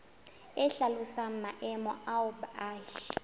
e hlalosang maemo ao baahi